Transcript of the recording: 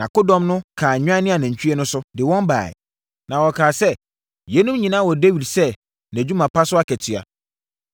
Nʼakodɔm no kaa nnwan ne anantwie no so, de wɔn baeɛ. Na wɔkaa sɛ, “Yeinom nyinaa wɔ Dawid sɛ nʼadwuma pa so akatua.”